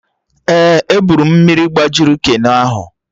Ee, eburu mmiri gbajiri keno ahụ